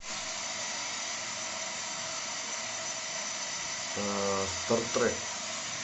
стартрек